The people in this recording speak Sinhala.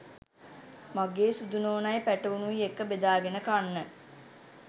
මගේ සුදු නෝනයි පැටවුනුයි එක්ක බෙදා ගෙන කන්න